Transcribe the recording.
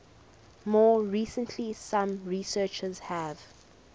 more recently some researchers have